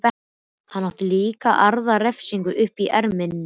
Hann átti líka aðra refsingu uppi í erminni.